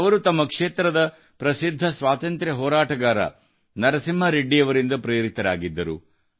ಅವರು ತಮ್ಮ ಕ್ಷೇತ್ರದ ಪ್ರಸಿದ್ಧ ಸ್ವಾತಂತ್ರ್ಯ ಹೋರಾಟಗಾರ ನರಸಿಂಹ ರೆಡ್ಡಿ ಅವರಿಂದ ಪ್ರೇರಿತರಾಗಿದ್ದರು